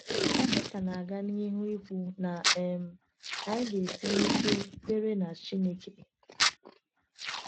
Dọkịta na-aga n’ihu ikwu na um anyị ga-esi n’ike kwere na Chineke.